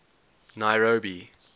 nairobi